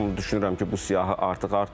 Amma düşünürəm ki, bu siyahı artıq artıb.